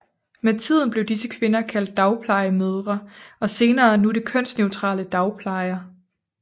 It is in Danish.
Med tiden blev disse kvinder kaldt dagplejemødre og senere nu det kønsneutrale dagplejer